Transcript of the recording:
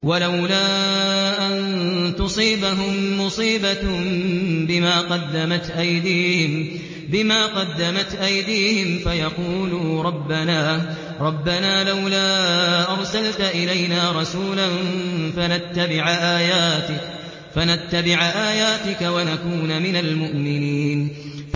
وَلَوْلَا أَن تُصِيبَهُم مُّصِيبَةٌ بِمَا قَدَّمَتْ أَيْدِيهِمْ فَيَقُولُوا رَبَّنَا لَوْلَا أَرْسَلْتَ إِلَيْنَا رَسُولًا فَنَتَّبِعَ آيَاتِكَ وَنَكُونَ مِنَ الْمُؤْمِنِينَ